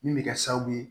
Min bɛ kɛ sababu ye